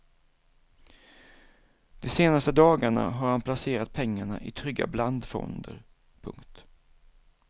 De senaste dagarna har han placerat pengarna i trygga blandfonder. punkt